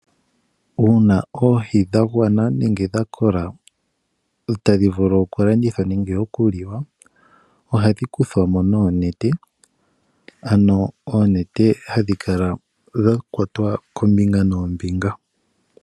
Uuna oohi dha gwana nenge dha kola tadhi vulu okulandithwa nenge okuliwa ohadhi kuthwa mo noonete, oonete dha kwatwa koombinga noombinga.